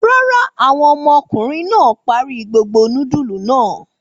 Rárá, àwọn ọmọkùnrin náà parí gbogbo núdúlù náà.